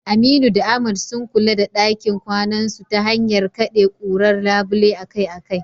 Aminu da Ahmad, sun kula da dakin kwanasu ta hanyar kade kurar labule akai-akai.